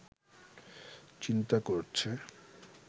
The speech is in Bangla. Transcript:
চিন্তা করছে